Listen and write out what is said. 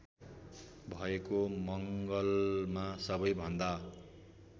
भएको मङ्गलमा सबैभन्दा